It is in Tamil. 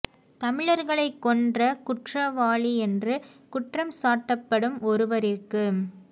தமிழர்களை கொன்ற குற்ரவாளியென்று குற்ரம் சாட்டப்படும் ஒருவரிற்கு